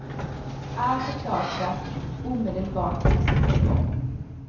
Allt är klart för att omedelbart kunna sätta igång.